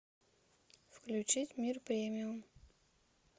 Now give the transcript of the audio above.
включить мир премиум